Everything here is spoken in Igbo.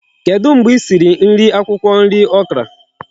Kedu mgbe isiri nri akwukwo nri Okra?